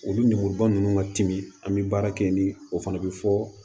Olu lemuruba nunnu ka timi an mi baara kɛ ni o fana be fɔ